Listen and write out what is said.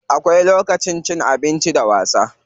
Akwai lokacin cin abinci da wasa.